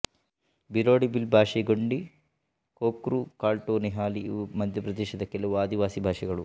ಭಿಲೋಡಿ ಭಿಲ್ ಭಾಷೆ ಗೊಂಡಿ ಕೋರ್ಕು ಕಾಲ್ಟೋ ನಿಹಾಲಿ ಇವು ಮಧ್ಯಪ್ರದೇಶದ ಕೆಲವು ಆದಿವಾಸಿ ಭಾಷೆಗಳು